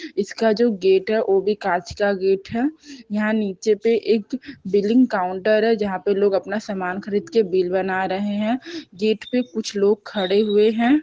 इसका जो गेट है वो भी कांच का गेट हैं यहाँ नीचे पे एक बिलिंग काउन्टर है जहाँ पर लोग अपना सामान खरीद के बिल बना रहे है गेट पे कुछ लोग खड़े हुए हैं ।